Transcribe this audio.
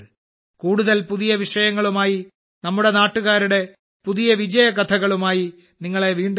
കൂടുതൽ പുതിയ വിഷയങ്ങളുമായി നമ്മുടെ നാട്ടുകാരുടെ പുതിയ വിജയകഥളുമായി നിങ്ങളെ വീണ്ടും കാണും